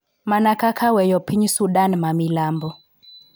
Mana kaka weyo piny Sudan ma milambo .